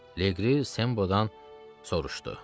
Leqri Sembo-dan soruşdu.